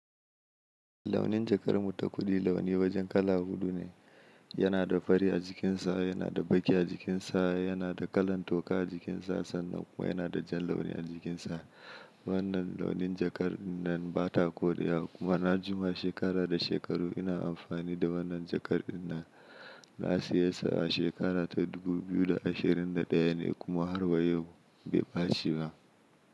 Launin jakar mu ta kuɗi launi wajen kala huɗu ne. Yana da fari a jikinsa, yana da baƙi a jikinsa, yana da kalar toka a jikinsa sannan kuma yana da jan launi a jikinsa. Wannan launin jakar dinnan bata koriya kuma na jima shekara da shekaru ina amfani da wannan jakar din nan. Na siye sa a shekara ta dubu biyu da ashirin da ɗaya ne kuma har wa yau bai bace ba.